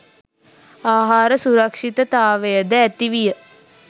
ආහාර සුරක්ෂිතතාවය ද ඇති විය